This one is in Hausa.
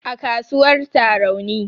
A kasuwar Tarauni